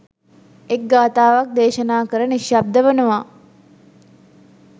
එක් ගාථාවක් දේශනා කර නිශ්ශබ්ද වනවා.